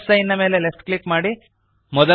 plus sign ನ ಮೇಲೆ left click ಮಾಡಿರಿ